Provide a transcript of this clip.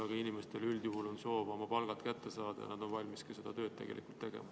Aga inimestel üldjuhul on soov oma palgad kätte saada ja nad on valmis seda tööd tegelikult ka tegema.